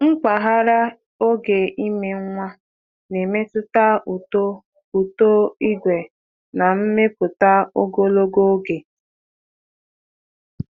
Mpaghara oge ime nwa na-emetụta uto uto ìgwè na nmepụta ogologo oge.